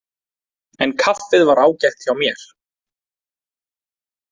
En kaffið var ágætt hjá mér.